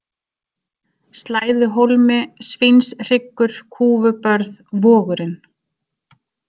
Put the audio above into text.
Slæðuhólmi, Svínshryggur, Kúfubörð, Vogurinn